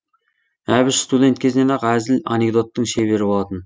әбіш студент кезінен ақ әзіл анекдоттың шебері болатын